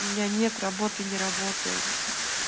у меня нет работы не работаю